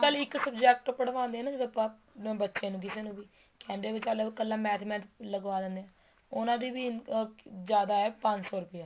ਇੱਕ subject ਪੜਵਾਦੇ ਆ ਨਾ ਜਦੋਂ ਆਪਾਂ ਬੱਚੇ ਨੂੰ ਕਿਸੇ ਨੂੰ ਵੀ ਕਹਿੰਦੇ ਵੀ ਚੱਲ ਕੱਲਾ ਕੱਲਾ math ਵੀ ਲਗਾਵ ਦਿੰਨੇ ਹਾਂ ਉਹਨਾ ਦੀ ਜਿਆਦਾ ਹੈ ਪੰਜ ਸੋ ਰੁਪਇਆ